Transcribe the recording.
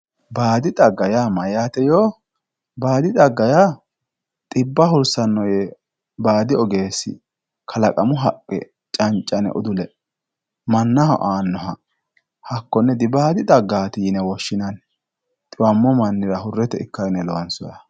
baadi xagga mayyaate yoo, baadi xagga yaa xibba hursannore baadi ogeesi kalaqamu haqqe canca'ne udule mannaho aannoha hakkonne dibaadi xaggaati yine woshhsinanni. xiwammo mannira hurete ikkawo yine loonsooyiha.